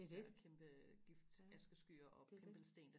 det er det ja det er det